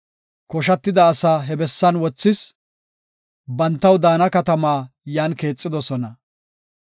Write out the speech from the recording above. Koshatida asaa he bessan wothis; bantaw daana katamaa yan keexidosona.